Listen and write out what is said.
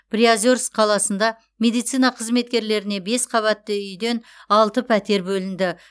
приозерск қаласында медицина қызметкерлеріне бес қабатты үйден алты пәтер бөлінді